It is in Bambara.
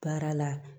Baara la